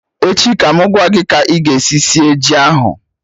Echi ka mụ gwa gị ka ị ga esi sie ji ahụ